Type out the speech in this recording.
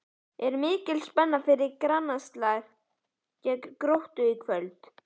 Er mikil spenna fyrir grannaslaginn gegn Gróttu í kvöld?